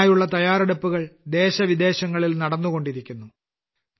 അതിനായുള്ള തയ്യാറെടുപ്പുകൾ ദേശവിദേശങ്ങളിൽ നടന്നുകൊണ്ടിരിക്കുന്നു